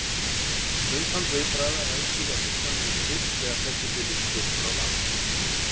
Umfang viðbragða ræðst því af hugsanlegum styrk þegar fellibylurinn gengur á land.